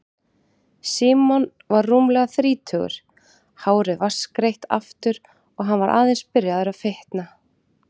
Símon var rúmlega þrítugur, hárið vatnsgreitt aftur og hann var aðeins byrjaður að fitna.